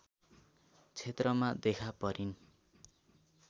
क्षेत्रमा देखा परिन्